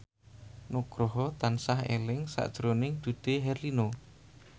Nugroho tansah eling sakjroning Dude Herlino